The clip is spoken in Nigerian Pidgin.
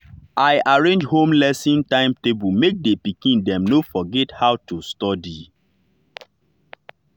i arrange home learning timetable make the pikin dem no forget how to study.